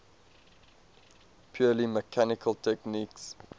purely mechanical techniques